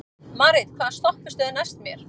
Marit, hvaða stoppistöð er næst mér?